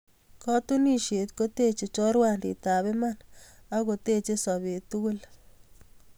Katunisieet koteechei chorwanditab iman ak kotebche sobeet tugul